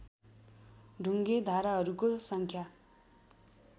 ढुङ्गे धाराहरूको सङ्ख्या